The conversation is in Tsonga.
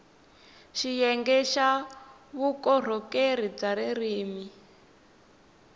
xiyenge xa vukorhokeri bya ririrmi